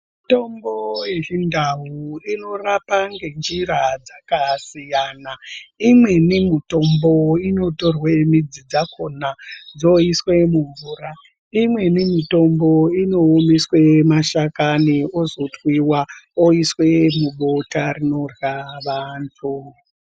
Mitombo yechindau inorapa ngenjira dzakasiyana, imweni mitombo inotorwa midzi dzakona dziswe mumvura. Imweni mitombo inoomeswe mashakani ozo twiva oiswe mubota rinorya vantu.